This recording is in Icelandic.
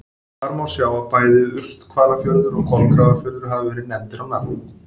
Þar má þó sjá að bæði Urthvalafjörður og Kolgrafafjörður hafa verið nefndir á nafn.